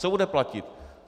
Co bude platit?